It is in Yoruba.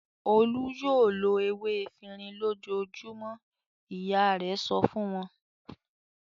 "Olú yóò lo ewé efirin lójoojúmọ́!" Ìyá rẹ̀ sọ fún wọn.